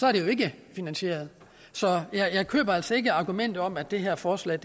er det ikke finansieret så jeg køber altså ikke argumentet om at det her forslag